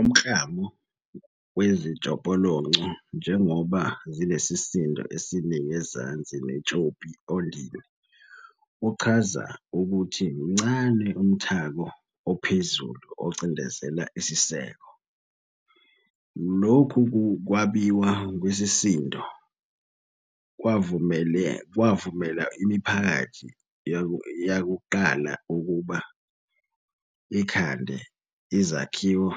Umklamo wezitshopolonco, njengoba zinesisindo esiningi ezansi netshopi ondini, uchaza ukuthi mncane umthako ophezulu ocindizela isiseko. Lokhu kwabiwa kwesisindo kwavumela imiphakathi yakuqala ukuba ikhande izakhiwo